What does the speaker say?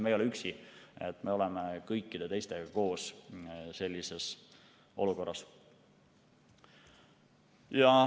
Me ei ole üksi, me oleme kõikide teistega koos sellises olukorras.